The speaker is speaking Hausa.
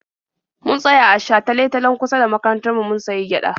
Mun tsaya a shatale-talen kusa da makarantar mu mun sayi gyaɗa.